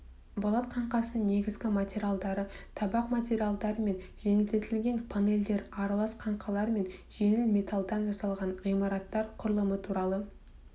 болат қаңқасының негізгі элементтері табақ материалдар мен жеңілдетілген панельдер аралас қаңқалар және жеңіл металлдан жасалған ғимараттар құрылымы туралы